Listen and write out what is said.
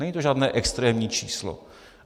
Není to žádné extrémní číslo.